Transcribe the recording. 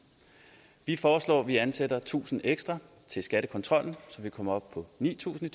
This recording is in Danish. vi foreslår at vi ansætter tusind ekstra til skattekontrollen så vi kommer op på ni tusind i